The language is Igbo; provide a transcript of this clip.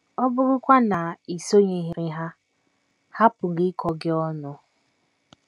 Ọbụrụkwa na i sonyeghịrị ha, ha pụrụ ịkọ gị ọnụ.